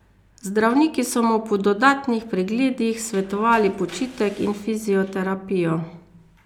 Zdravniki so mu po dodatnih pregledih svetovali počitek in fizioterapijo.